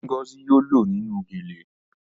Ngozi yóò lọ nínú gele